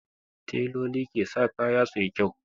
Tailoli ke sa kaya suyi kyau